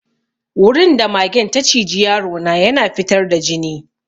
Wurin da magen ta ciji yaro na ya na fitar da jini.